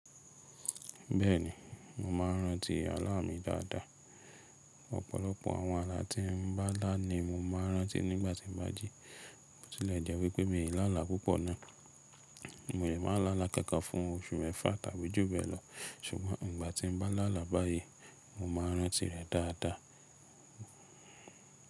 Bẹ́ẹ̀ni, mo máa ń rántí alá mi dáadáa. Ọ̀pọ̀lọpọ̀ àwọn alá tí n bá lá ni mo máa ń rántí nígbà tí mo bá jí. Bótílẹ̀ jẹ́ wipé mi í lálá púpọ̀ náà. Mò lé máa lálá kánkán fún oṣù mẹ́fà tàbí jù bẹ́lọ̀, ṣùgbọ́n ìgbà tí n bá lálá báyìí, mo máa ń rántí rẹ̀ dáadáa.